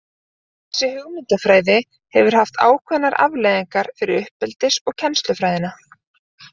Þessi hugmyndafræði hefur haft ákveðnar afleiðingar fyrir uppeldis- og kennslufræðina.